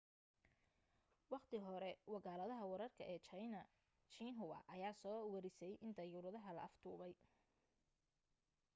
wakhti hore wakaaladda wararka ee jayna xinhua ayaa soo warisay in dayuuradda la afduubay